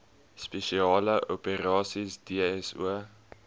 spesiale operasies dso